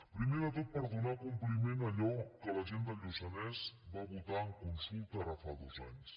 primer de tot per donar compliment a allò que la gent del lluçanès va votar en consulta ara fa dos anys